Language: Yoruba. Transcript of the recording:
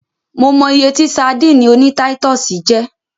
Mo mọ iye tí sadíìnì oní táítọ̀sì jẹ́.